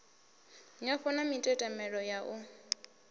nyofho na mitetemelo ya u